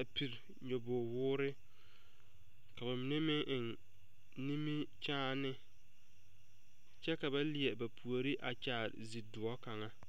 a pire nyaboge woore ka bamine meŋ eŋ nimikyaani kyɛ ka ba leɛ ba puori a kyaare zie doɔ kaŋa.